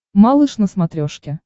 малыш на смотрешке